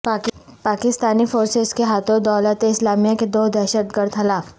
Pakistani forces کے ہاتھوں دولت اسلامیہ کے دو دہشت گرد ہلاک